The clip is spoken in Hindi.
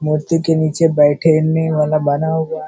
मूर्ति के नीचे बैठेने वाला बना हुआ --